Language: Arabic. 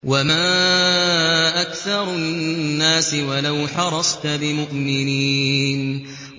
وَمَا أَكْثَرُ النَّاسِ وَلَوْ حَرَصْتَ بِمُؤْمِنِينَ